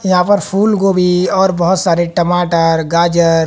यहां पर फूलगोभी और बहोत सारे टमाटर गाजर--